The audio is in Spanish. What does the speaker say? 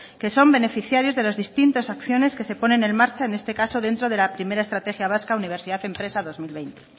que son beneficiarios de las distintas acciones que se ponen en marcha en este caso dentro de la primero estrategia vasca de universidad empresa dos mil veinte